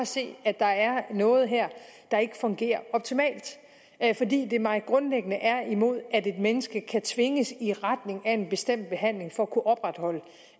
se at der er noget her der ikke fungerer optimalt det er mig grundlæggende imod at et menneske kan tvinges i retning af en bestemt behandling for at kunne opretholde